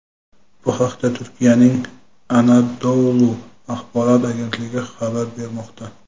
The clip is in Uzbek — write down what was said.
Bu haqda Turkiyaning "Anadolu" axborot agentligi xabar bermoqda.